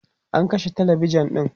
an kashe talabijan ɗin